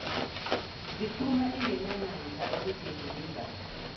ziphuma engenamandla okuzivimba